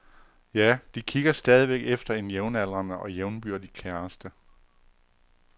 Ja, de kigger stadigvæk efter en jævnaldrende og jævnbyrdig kæreste.